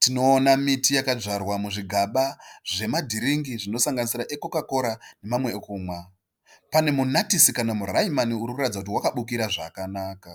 Tinoona miti yakadzvarwa muzvigaba zve dhiringi zvinosanganisira ekokakora nemamwe ekumwa. Pane munatisi kana muraimani uri kuratidza kuti wakabukira zvakanaka.